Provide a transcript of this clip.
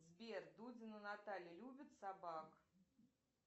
сбер дудина наталья любит собак